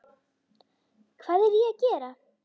Hvað er ég að gera?